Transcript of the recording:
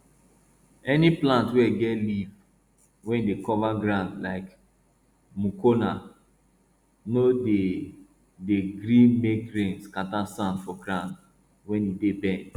any plant wey get leaf wey dey cover ground like mucuna no dey dey gree make rain scatter sand for ground wey e dey bend